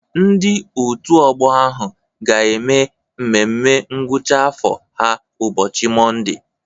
Ndị òtù ọgbọ ahụ ga-eme mmemme ngwụcha afọ ha ụbọchị Mọnde.